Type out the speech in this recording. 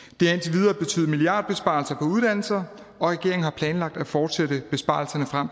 videre betydet milliardbesparelser på uddannelser og regeringen har planlagt at fortsætte besparelserne frem